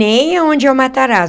Nem aonde é o Matarazzo.